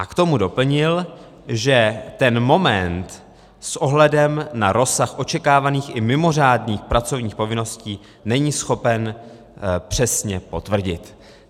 A k tomu doplnil, že ten moment s ohledem na rozsah očekávaných i mimořádných pracovních povinností není schopen přesně potvrdit.